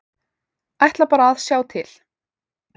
Ætla bara að sjá til.